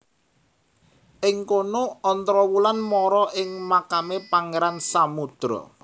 Ing kono Ontrowulan mara ing makame Pangeran Samudro